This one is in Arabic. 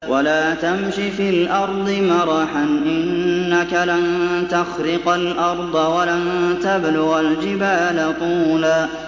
وَلَا تَمْشِ فِي الْأَرْضِ مَرَحًا ۖ إِنَّكَ لَن تَخْرِقَ الْأَرْضَ وَلَن تَبْلُغَ الْجِبَالَ طُولًا